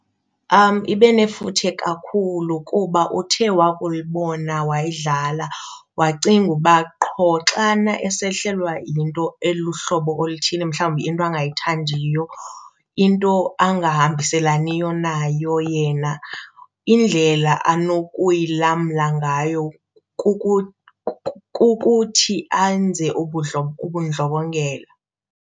Ibe nefuthe kakhulu kuba uthe wakulibona wayidlala wacinga uba qho xana esehlelwe yinto eluhlobo oluthini, mhlawumbi into angayithandiyo, into ahambiselani nayo yena indlela anokuyilamla ngayo kukuthi enze ubundlobongela.